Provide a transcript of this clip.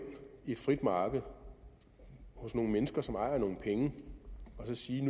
i et frit marked hos nogle mennesker som ejer nogle penge og så sige